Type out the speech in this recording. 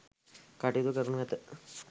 කටයුතු කරනු ඇත.